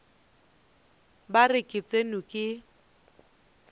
ba re ke tsenwe ke